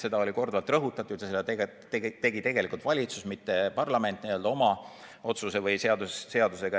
Seda oli korduvalt rõhutatud ja seda tegi valitsus, mitte parlament oma otsuse või seadusega.